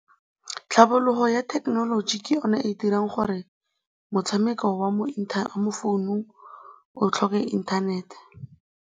Tlhabologo ya thekenoloji ke yone e dirang gore motshameko wa mo founung o tlhoke inthanete.